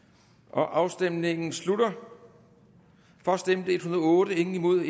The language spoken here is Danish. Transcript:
afstemningen slutter for stemte en hundrede og otte imod